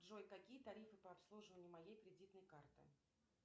джой какие тарифы по обслуживанию моей кредитной карты